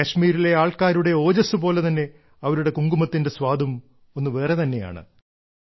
കശ്മീരിലെ ആൾക്കാരുടെ ഓജസ്സ് പോലെ തന്നെ അവരുടെ കുങ്കുമത്തിന്റെ സ്വാദും ഒന്നു വേറെ തന്നെയാണ്